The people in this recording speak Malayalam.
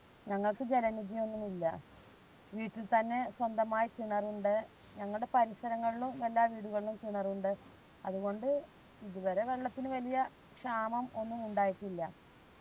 ഞങ്ങൾക്ക് ജലനിധി ഒന്നുമില്ല. വീട്ടിൽ തന്നെ സ്വന്തമായി കിണറുണ്ട്. ഞങ്ങൾടെ പരിസരങ്ങളിലും എല്ലാ വീടുകളിലും കിണറുണ്ട്. അതുകൊണ്ട് ഇതുവരെ വെള്ളത്തിനു വലിയ ക്ഷാമാം ഒന്നും ഉണ്ടായിട്ടില്ല.